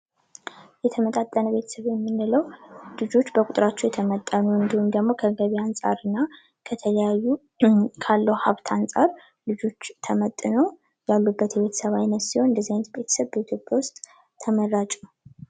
የተመጣጠነ ቤተሰብን ምንለው ልጆች በቁጥራቸው የተመጠኑ እንዲሁም ደግሞ ከገበያ አንፃርና ከተለያዩ ካለው ሀብት አንጻር ልጆች ተመጥነው ያሉበት የቤተሰብ ዓይነት ሲሆን እንድዚህ አይነት ቤተሰብ በኢትዮጵያ ውስጥ ተመራጭ ነው።